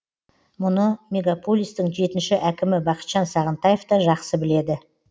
мұны мегаполистің жетінші әкімі бақытжан сағынтаев та жақсы біледі